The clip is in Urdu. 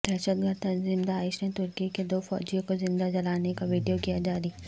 دہشت گرد تنظیم داعش نے ترکی کے دو فوجیوں کو زندہ جلانے کا ویڈیو کیاجاری